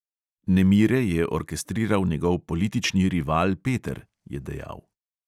"Nemire je orkestriral njegov politični rival peter," je dejal.